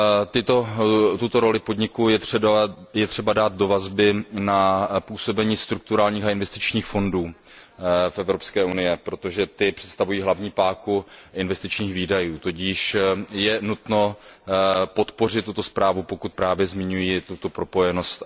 Tuto roli podniků je třeba dát do vazby na působení strukturálních a investičních fondů v Evropské unii, protože ty představují hlavní páku investičních výdajů, tudíž je nutno podpořit tuto zprávu, pokud právě zmiňuje tuto propojenost.